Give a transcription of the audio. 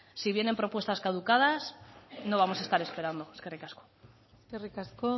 si vienen propuestas caducadas no vamos a estar esperando eskerrik asko eskerrik asko